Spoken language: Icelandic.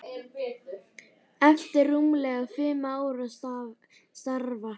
eftir rúmlega fimm ára starf.